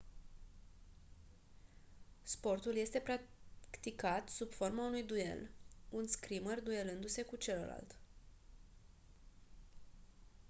sportul este practicat sub forma unui duel un scrimer duelându-se cu celălalt